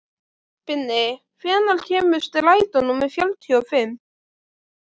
Binni, hvenær kemur strætó númer fjörutíu og fimm?